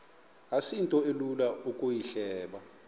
asinto ilula ukuyihleba